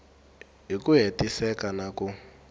hi ku hetiseka na ku